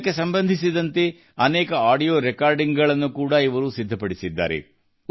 ಇದಕ್ಕೆ ಸಂಬಂಧಿಸಿದಂತೆ ಅನೇಕ ಆಡಿಯೋ ರೆಕಾರ್ಡಿಂಗ್ ಗಳನ್ನು ಕೂಡಾ ಇವರು ಸಿದ್ಧಪಡಿಸಿದ್ದಾರೆ